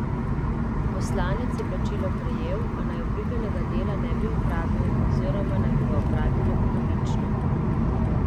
Poslanec je plačilo prejel, a naj obljubljenega dela ne bi opravil oziroma naj bi ga opravil le polovično.